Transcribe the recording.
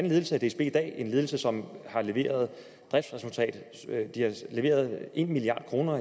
ledelse af dsb i dag en ledelse som har leveret driftsresultater de har leveret en milliard kroner